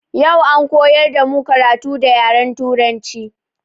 Yau an koyar damu karatu da yaren turanci.